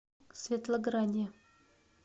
светлограде